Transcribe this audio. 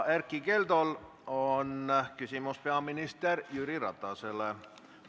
Erkki Keldol on küsimus peaminister Jüri Ratasele.